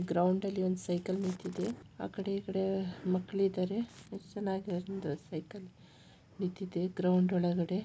Ground ಅಲ್ಲಿ ಒಂದು cycle ನಿಂತಿದೆ ಆ ಕಡೆ ಈ ಕಡೆ ಮಕ್ಕಳಿದ್ದಾರೆ ಗ್ರೌಂಡ್ ಒಳಗಡೆ.